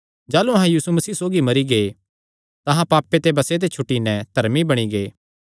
जाह़लू अहां यीशु मसीह सौगी मरी गै तां अहां पापे ते बसे ते छुटी नैं धर्मी बणी गै